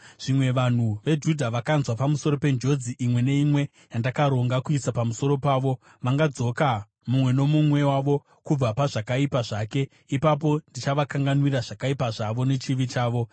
Zvimwe vanhu veJudha vakanzwa pamusoro penjodzi imwe neimwe yandakaronga kuisa pamusoro pavo, vangadzoka mumwe nomumwe wavo kubva pazvakaipa zvake; ipapo ndichavakanganwira zvakaipa zvavo nechivi chavo.”